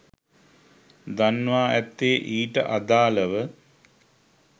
දන්වා ඇත්තේ ඊට අදාළව